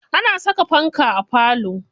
Ana saka fanta a falo.